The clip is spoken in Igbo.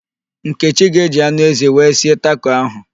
Nkechi ga-eji anụ ezi wee sie tako ahụ